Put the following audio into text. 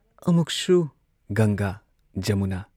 ꯑꯃꯨꯛꯁꯨ ꯒꯪꯒꯥ ꯖꯃꯨꯅꯥ,